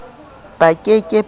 ba ke ke ba ho